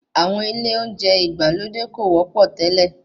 Àwọn ilé oúnjẹ ìgbàlódé kò wọ́pọ̀ tele.